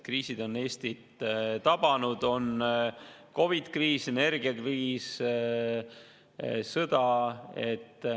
Kriisid on Eestit tabanud: COVID-kriis, energiakriis, sõda.